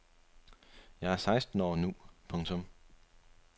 Jeg er seksten år nu. punktum